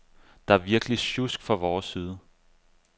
Det er virkelig sjusk fra vores side.